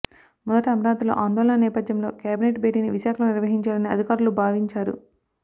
మొదట అమరావతిలో ఆందోళనల నేపథ్యంలో కేబినెట్ భేటీని విశాఖలో నిర్వహించాలని అధికారులు భావివంచారు